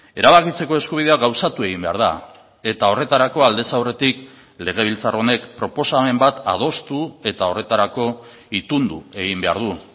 erabakitzeko eskubidea gauzatu egin behar da eta horretarako aldez aurretik legebiltzar honek proposamen bat adostu eta horretarako itundu egin behar du